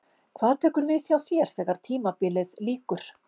Hvað tekur við hjá þér þegar tímabilið lýkur?